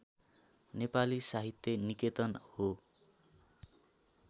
नेपाली साहित्य निकेतन हो